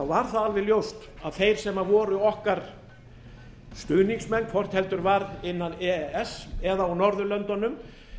var það alveg ljóst að þeir sem voru okkar stuðningsmenn hvort heldur var innan e e s eða á norðurlöndunum